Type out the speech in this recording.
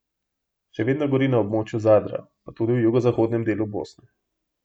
Še vedno gori na območju Zadra, pa tudi v jugozahodnem delu Bosne.